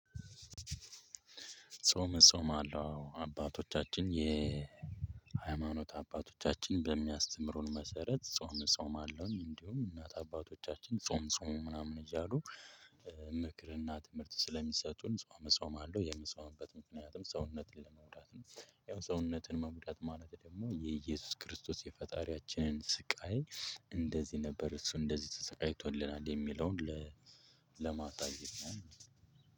ጾም እጾማለው አባቶቻችን የሃይማኖት አባቶቻችን በሚያስተምሩን መሰረት ጾም እጾማለሁኝ እንዲሁም እናት አባቶቻችን ጾም ጹሙ ምናምን እያሉ። ምክር እና ትምህርት ስለሚሰጡን ጾም እጾማለው የምጾምበት ምክንያትም ሰውነቴን ለመጉዳት ነው። ሰውነትን መጉዳት ማለት ደግሞ የእየሱስ ክርስቶስ የፈጣሪያችንን ስቃይ እንደዚህ ነበር እሱ እንደዚህ ተሰቃይቶልናል የሚለውን ለማሳየት ነው።